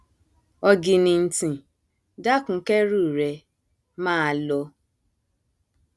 ọgìnìntìn dákun kẹrù rẹ máa lọ